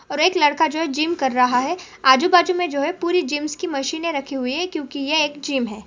और एक लड़का जो है जिम कर रहा है अजू-बाजुमे जो है पूरी जिमस की मशिने रखी हुई है क्यूकी ये एक जिम है।